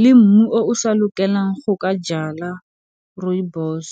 le mmu o o sa lokelang go ka jala rooibos.